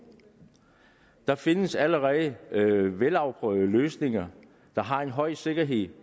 der findes allerede velafprøvede løsninger der har en høj sikkerhed